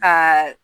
Ka